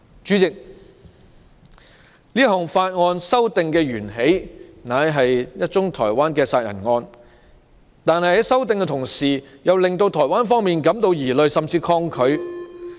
主席，這項法例修訂源自一宗台灣殺人案。可是，台灣方面感到疑慮，甚至抗拒。